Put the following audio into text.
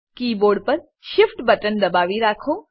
keyboard પર Shift button દબાવી રાખો